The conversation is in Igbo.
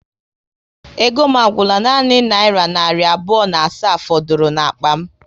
Ego m agwụla, nanị naira narị abụọ na asaa fọdụrụ n'akpa m